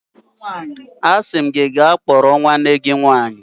Asim gi ka kporo nwanne gi nwanyi.